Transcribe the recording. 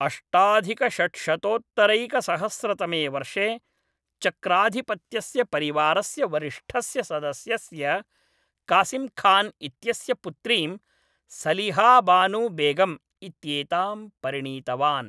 अष्टाधिकषड्शतोत्तरैकसहस्रतमेवर्षे, चक्राधिपत्यस्य परिवारस्य वरिष्ठस्य सदस्यस्य कासिम् खान् इत्यस्य पुत्रीं सलिहा बानु बेगम् इत्येतां परिणीतवान्।